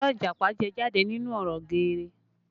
Àlọ́ Ìjàpá jẹ jáde nínú ọ̀rọ̀ geere